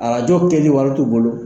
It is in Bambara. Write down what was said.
Arajo kɛli wari t'u bolo.